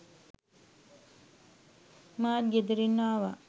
මාත් ගෙදරින් ආවා